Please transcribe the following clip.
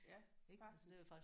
Ja faktisk